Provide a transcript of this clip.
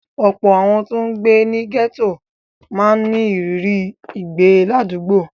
Ọ̀pọ̀ àwọn tó ń gbé ní gẹ́tò máa ń ní ìrírí ìgbé ládùúgbò.